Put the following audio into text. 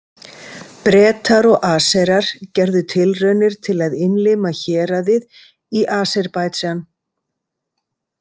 Bretar og Aserar gerðu tilraunir til að innlima héraðið í Aserbaídsjan.